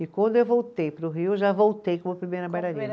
E quando eu voltei para o Rio, eu já voltei como primeira bailarina.